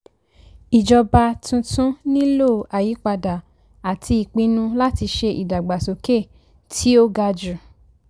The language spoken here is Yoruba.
ìjọba tuntun nílò àyípadà àti ìpinnu láti ṣe ìdàgbàsókè tí ó ga jù.